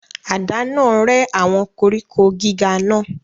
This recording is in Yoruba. Àdá náà rẹ́ àwọn koríko gíga náà.